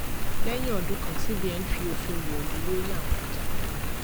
lẹyìn ọdún kan cbn fi òfin wọlú lórí àwọn ọjà kan